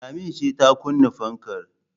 Lami ce ta kunna fankar